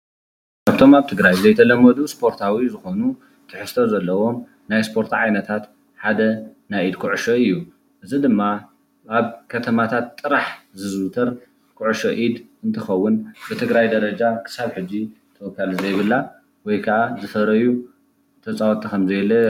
ካብቶም ኣብ ትግራይ ዘይተለመዱ ስፖርታዊ ዝኾኑ ትሕዝቶ ዘለዎም ናይ ሰፖርት ዓይነታ ሓደ ናይ ኢድ ኩዕሾ እዩ፡፡ እዚ ድማ ኣብ ከማታት ጥራሕ ዝዝውተር ኩዕሾ ኢድ እንትኸውን ብትግራይ ደረጃ ክሳብ ሕጂ ተወካሊ ከምዘይብላ ወይከኣ ዝፈረዩ ተፃወቲ ከምዘየለ።